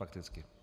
Fakticky.